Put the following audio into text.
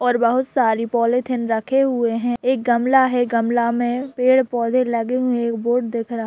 और बहोत सारी पोलिथिन रखे हुवे है एक गमला है गमला में पेड़ -पोधे लगे हुए बोर्ड दिख रहा है।